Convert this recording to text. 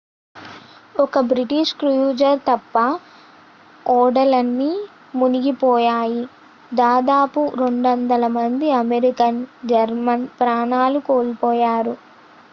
ఒక్క British cruiser తప్ప ఓడలన్నీ మునిగిపోయాయి దాదాపు 200 మంది అమెరికన్ జర్మన్ ప్రాణాలు కోల్పోయారు